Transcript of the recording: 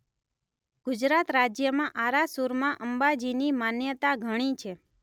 ગુજરાત રાજ્યમાં આરાસુરમાં અંબાજીની માન્યતા ઘણી છે.